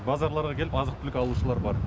базарларға келіп азық түлік алушылар бар